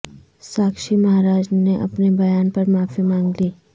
ساکشی مہاراج نے اپنے بیان پر معافی مانگ لی